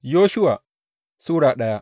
Yoshuwa Sura daya